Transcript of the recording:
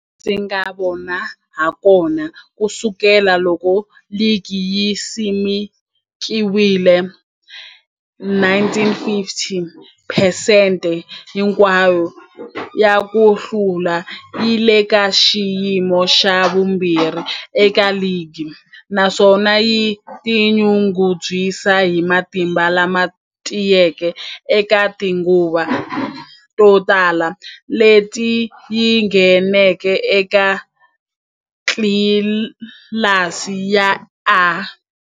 Hilaha ndzi nga vona hakona, ku sukela loko ligi yi simekiwile, 1950, phesente hinkwayo ya ku hlula yi le ka xiyimo xa vumbirhi eka ligi, naswona yi tinyungubyisa hi matimba lama tiyeke eka tinguva to tala leti yi ngheneke eka tlilasi ya A.